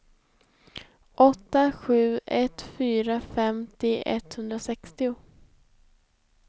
åtta sju ett fyra femtio etthundrasextio